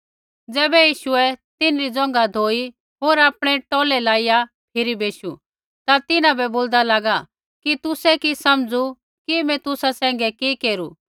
ज़ैबै यीशुऐ तिन्हरी ज़ोंघा धोई होर आपणै टौलै लाईया फिरी बेशु ता तिन्हां बै बोल्दा लागा कि तुसै कि समझू कि मैं तुसा सैंघै कि केरू